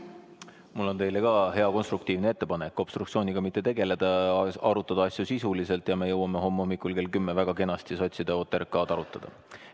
Mul on teile ka hea konstruktiivne ettepanek: obstruktsiooniga mitte tegeleda, arutada asju sisuliselt ja nii me jõuame homme hommikul kell 10 väga kenasti sotside OTRK-d arutada.